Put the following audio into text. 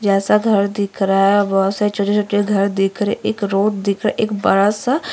जैसा घर दिख रहा है व से छोटे-छोटे घर दिख रे। एक रोड दिख रा। एक बड़ा सा --